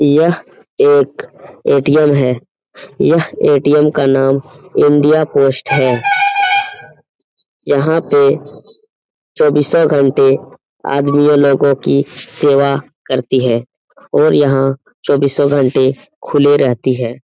यह एक ए.टी.एम. है । यह ए.टी.एम का नाम इंडिया पोस्ट है । यहाँ पे चौबीसों घंटे आदमियों लोगो की सेवा करती है और यहाँ चौबीसों घंटे खुले रहती है ।